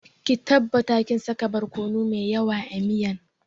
Ki tabbata kin saka borkono mai yawa a miyan